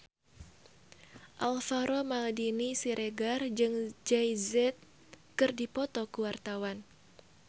Alvaro Maldini Siregar jeung Jay Z keur dipoto ku wartawan